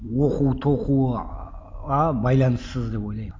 оқу тоқуға байланыссыз деп ойлаймын